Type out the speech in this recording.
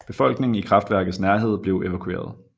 Befolkningen i kraftværkets nærhed blev evakueret